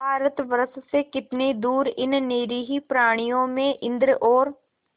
भारतवर्ष से कितनी दूर इन निरीह प्राणियों में इंद्र और